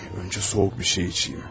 Öncə soyuq bir şey içim.